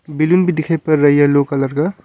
billing भी दिखाई पड़ रहा येलो कलर का और--